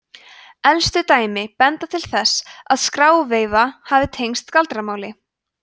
elstu dæmi benda til þess að skráveifa hafi tengst galdramáli